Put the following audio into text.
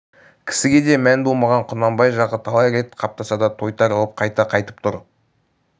кісіге ден болмаған құнанбай жағы талай рет қаптаса да тойтарылып қайта қайтып тұр